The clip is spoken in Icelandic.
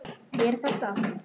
Er þetta?